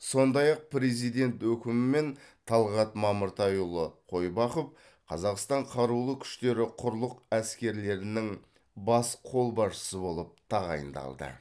сондай ақ президент өкімімен талғат мамыртайұлы қойбақов қазақстан қарулы күштері құрлық әскерлерінің бас қолбасшысы болып тағайындалды